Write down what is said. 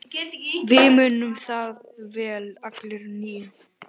Við munum það vel allir níu.